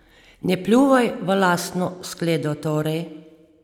Ne pljuvaj v lastno skledo torej!